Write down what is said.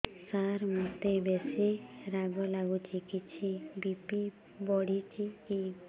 ସାର ମୋତେ ବେସି ରାଗ ଲାଗୁଚି କିଛି ବି.ପି ବଢ଼ିଚି କି